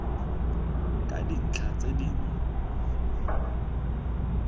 ka dintlha tse di mo